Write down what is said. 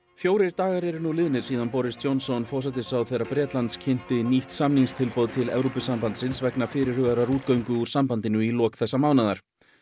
fjórir dagar eru nú liðnir síðan Boris Johnson forsætisráðherra Bretlands kynnti nýtt samningstilboð til Evrópusambandsins vegna fyrirhugaðrar útgöngu úr sambandinu í lok þessa mánaðar